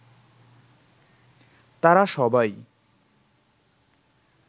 তারা সবাই